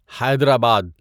حیدر آباد